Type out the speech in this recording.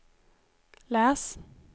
läs